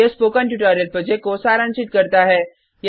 यह spoken tutorial project को सारांशित करता है